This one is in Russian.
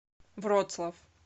вроцлав